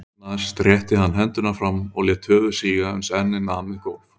Því næst rétti hann hendurnar fram og lét höfuð síga uns ennið nam við gólf.